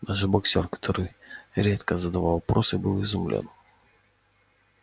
даже боксёр который редко задавал вопросы был изумлён